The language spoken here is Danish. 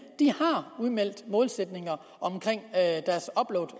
har udmeldt målsætninger